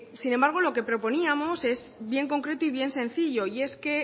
sin embargo lo que proponíamos es bien concreto y bien sencillo y es que